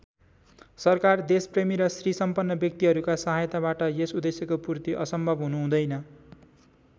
सरकार देशप्रेमी र श्रीसम्पन्न व्यक्तिहरूका सहायताबाट यस उद्देश्यको पूर्ति असम्भव हुुनु हुँदैन।